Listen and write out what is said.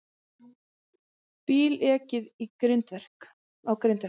Bíl ekið á grindverk